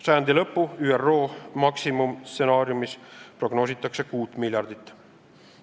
Sajandi lõpuks prognoositakse ÜRO maksimumstsenaariumis 6 miljardit.